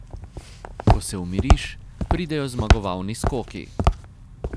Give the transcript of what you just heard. Ko se umiriš, pridejo zmagovalni skoki.